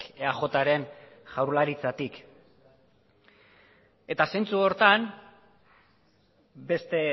eajren jaurlaritzatik eta zentzu horretan beste